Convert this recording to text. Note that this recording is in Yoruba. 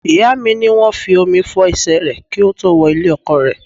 Ìyá mi ní wọ́n fi omi fo ẹsẹ rẹ ki ó tó wo ilé-ọkọ rẹ̀.